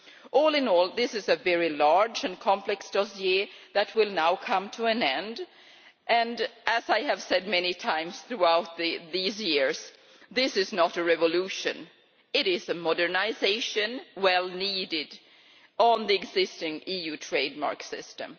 All in all, this is a very large and complex dossier that will now come to an end and, as I have said many times throughout these years this is not a revolution, it is a modernisation which was needed on the existing EU trade mark system.